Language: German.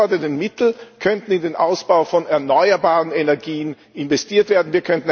Die freigewordenen Mittel könnten in den Ausbau von erneuerbaren Energien investiert werden.